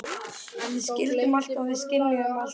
Við skildum allt og við skynjuðum allt.